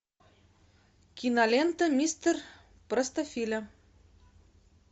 кинолента мистер простофиля